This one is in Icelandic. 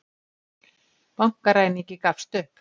Bankaræningi gafst upp